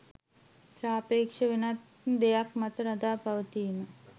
සාපේක්ෂ– වෙනත් දෙයක් මත රඳා පැවතීම